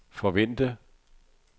forvente